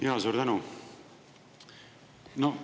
Jaa, suur tänu!